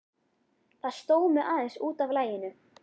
Það sló mig aðeins út af laginu.